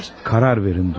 Qərar verin, Dunya.